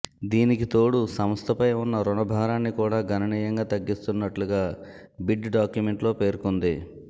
దీనికి తోడు సంస్థపై ఉన్న రుణ భారాన్ని కూడా గణనీయంగా తగ్గిస్తున్నట్టుగా బిడ్ డాక్యుమెంట్లో పేర్కొంది